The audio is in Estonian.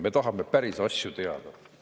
Me tahame päris asju teada.